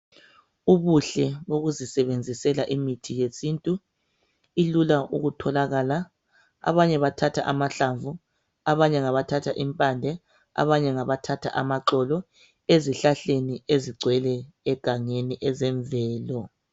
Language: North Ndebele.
Ubuhle bokuzisebenzisela imithi yesintu, ilula ukutholakala abanye bathatha amahlamvu abanye ngabathatha impande abanye ngabathatha amaxolo ezihlahleni ezigcwele egangeni ezemvelo.